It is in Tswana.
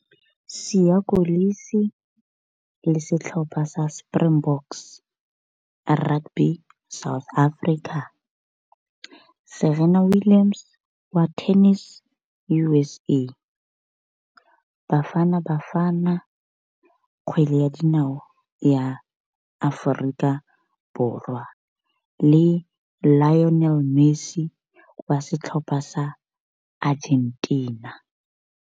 Siya Kolisi le setlhopha sa Springboks rugby South Africa, Serena Williams wa tennis U_S_A, Bafana Bafana kgwele ya dinao ya Aforika Borwa, le Lionel Messi wa setlhopha sa Argentina.